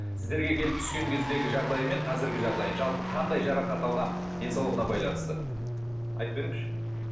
сіздерге келіп түскен кездегі жағдайы мен қазіргі жағдайын жалпы қандай жарақат алған денсаулығына байланысты айтып беріңізші